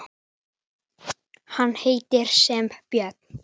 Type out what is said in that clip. Hann heitir sem björn.